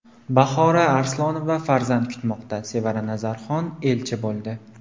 Bahora Arslonova farzand kutmoqda, Sevara Nazarxon elchi bo‘ldi.